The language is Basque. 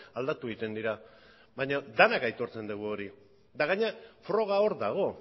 aldatu egiten dira baina denok aitortzen dugu hori eta gainera froga hor dago